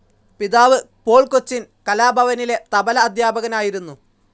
പിതാവ്‌ പോൾ കൊച്ചിൻ കലാഭവനിലെ തബ്ല അദ്ധ്യാപകനായിരുന്നു.